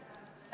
Aitäh!